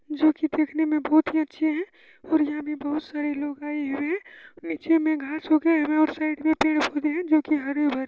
जोकि दिखने में बहुत ही अच्छे हैं और यहाँ पे बहुत सारे लोग आए हुए हैं। नीचे में घास उगे हैं और साइड में पेड़- पौधे हैं जोकि हरे भरे हैं।